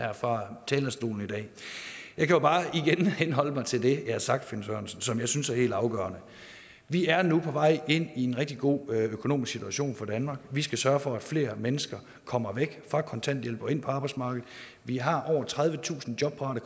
her fra talerstolen i dag jeg kan jo bare igen henholde mig til det jeg har sagt finn sørensen og som jeg synes er helt afgørende vi er nu på vej ind i en rigtig god økonomisk situation for danmark vi skal sørge for at flere mennesker kommer væk fra kontanthjælp og ind på arbejdsmarkedet vi har over tredivetusind jobparate